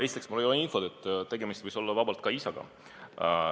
Esiteks, mul ei ole infot, tegemist võis olla ka isaga.